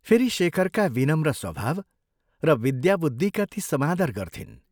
फेरि शेखरका विनम्र स्वभाव र विद्याबुद्धिका ती समादर गर्थिन्।